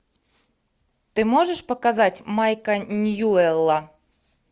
ты можешь показать майка ньюэлла